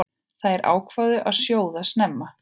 Þær ákváðu að sjóða snemma.